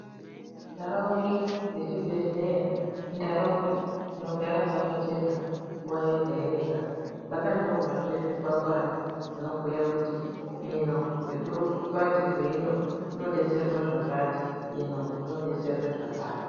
Ntaraunda dzechibhedhleya, ntaraunda dzinogara dzakachena nguwa yega-yega, dzakanyorwazve zvikwangwani zvinobhuya kuti ino nekurukumbati rweino kunodetserwa zvakati, ino kunodetserwa zvakati.